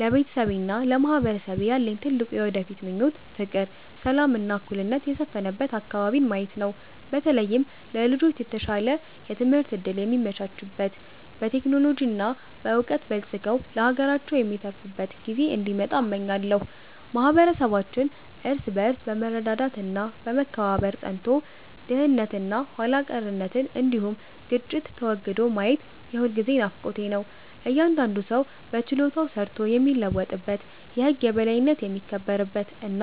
ለቤተሰቤና ለማህበረሰቤ ያለኝ ትልቁ የወደፊት ምኞት ፍቅር፣ ሰላም እና እኩልነት የሰፈነበት አከባቢን ማየት ነው። በተለይም ለልጆች የተሻለ የትምህርት እድል የሚመቻችበት፣ በቴክኖሎጂ እና በዕውቀት በልጽገው ለሀገራቸው የሚተርፉበት ጊዜ እንዲመጣ እመኛለሁ። ማህበረሰባችን እርስ በርስ በመረዳዳት እና በመከባበር ጸንቶ፣ ድህነት እና ኋላ ቀርነት እንዲሁም ግጭት ተወግዶ ማየት የሁልጊዜም ናፍቆቴ ነው። እያንዳንዱ ሰው በችሎታው ሰርቶ የሚለወጥበት፣ የህግ የበላይነት የሚከበርበት እና